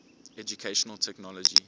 educational technology